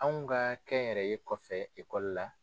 Anw ka kɛnyɛrɛye kɔfɛ ekɔli la